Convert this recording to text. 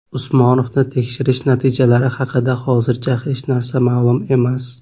Usmonovni tekshirish natijalari haqida hozircha hech narsa ma’lum emas.